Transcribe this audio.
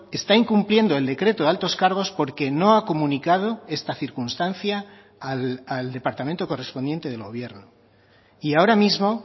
está incumpliendo el decreto de altos cargos porque no ha comunicado esta circunstancia al departamento correspondiente del gobierno y ahora mismo